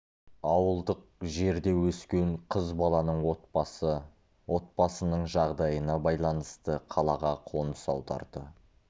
ауылдық жерде өскен қыз баланың отбасы отбасының жағдайына байланысты қалаға қоныс аударды